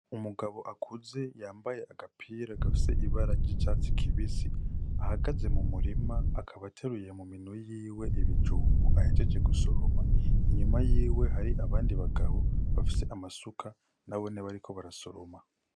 Umugabo akuze yambaye agapira gafise ibara ry'catsi kibisi ahagaze mu murima akaba ateruye mu minwe yiwe ibijumbu ahejeje gusoroma inyuma yiwe hakaba hari abandi bagabo bafise amasuka n'abone bariko barasoroma.